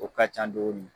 O ka can dɔɔnin